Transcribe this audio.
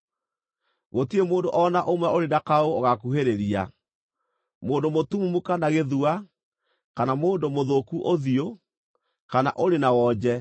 Gũtirĩ mũndũ o na ũmwe ũrĩ na kaũũgũ ũgaakuhĩrĩria: mũndũ mũtumumu kana gĩthua, kana mũndũ mũthũku ũthiũ, kana ũrĩ na wonje,